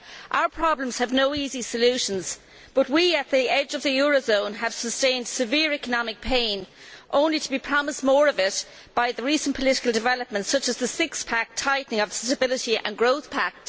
Our problems have no easy solutions, but we at the edge of the eurozone have sustained severe economic pain, only to be promised more of it by the recent political developments such as the six pack' tightening of the Stability and Growth Pact.